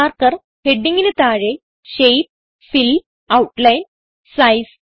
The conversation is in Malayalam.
മാർക്കർ headingന് താഴെ ഷേപ്പ് ഫിൽ ഔട്ട്ലൈൻ സൈസ് എന്നിവയുണ്ട്